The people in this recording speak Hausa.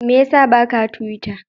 Mai ya sa ba ka tiwita?